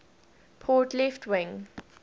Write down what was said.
port left wing